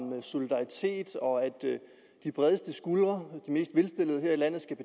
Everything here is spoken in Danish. solidaritet og om at de bredeste skuldre de mest velstillede her i landet